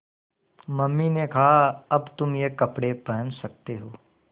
mummy ने कहा अब तुम ये कपड़े पहन सकते हो